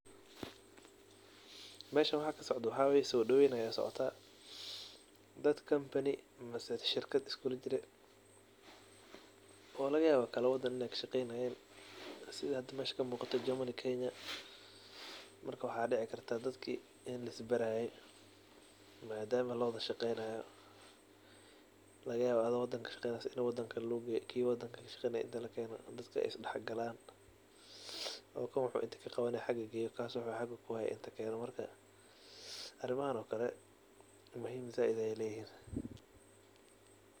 Meeshan wax kasocdo waxawaye soo daweyn aya socotaa. Daad company mis shirkad askulajire oo lagayawo kal wadaan inay kashegeynayeen sidha hada meesha ka muqato Germany, Kenya. Marka waxa dici kartaa dadki in laisbaraye madama lawadashageynayo laga yawo adho wadanka kashaqeyanye in wadan kale lagugeyo kii wadan kale kashqeynaye inta lakeno dadka ay isdax galaan oo kuwa inta wax kaqawanaye xaga geyo kaas wax xaga kuhaye inta keeno arimhan o kale muhiim zaid ay layhiin.